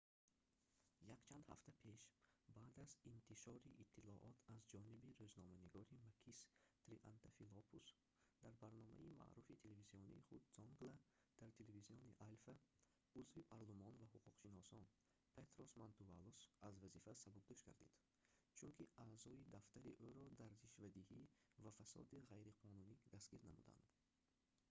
якчанд ҳафта пеш баъд аз интишори иттилоот аз ҷониби рӯзноманигори макис триантафилопулос дар барномаи маъруфи телевизионии худ «zoungla» дар телевизиони alfa узви парлумон ва ҳуқуқшинос петрос мантувалос аз вазифа сабукдӯш гардид чунки аъзои дафтари ӯро дар ришвадиҳӣ ва фасоди ғайриқонунӣ дастгир намуданд